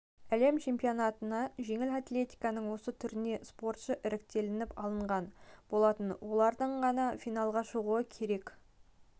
әлем чемпионатына жеңіл атлетиканың осы түрінен спортшы іріктелініп алынған болатын олардың ғана финалға шығуы керек әр